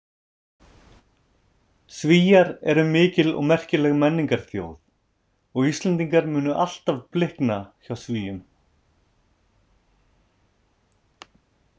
Svíar eru mikil og merkileg menningarþjóð og Íslendingar munu alltaf blikna hjá Svíum.